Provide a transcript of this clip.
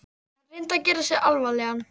Hann reyndi að gera sig alvarlegan.